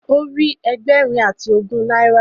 O rí ẹgbẹrin ati ogún naira